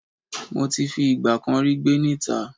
Mo ti fi ìgbà kan rí gbé ní ìta